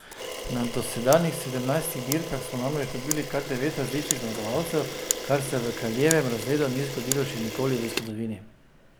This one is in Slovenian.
Na dosedanjih sedemnajstih dirkah smo namreč dobili kar devet različnih zmagovalcev, kar se v kraljevem razredu ni zgodilo še nikoli v zgodovini.